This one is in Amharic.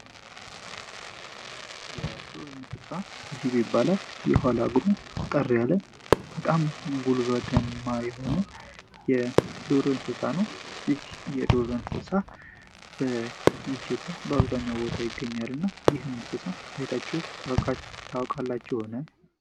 የዱር እንስሳ ጅብ ይባላል። የኋላ እግሩ አጠር ያለ በጣም ጉልበትማ የሆነ የዱር እንስሳ ነው። ይህ የዱር እንስሳ በኢትዮጵያ በአብዛኛው ቦታ ይገኛል። እናም ይህን እንስሳ አይታችሁ ታውቃላችሁን?